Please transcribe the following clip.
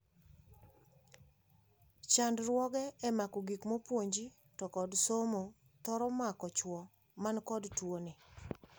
chandruoge e mako gikmaopuonji to kod somo thoro mako chuo manikod tuoni.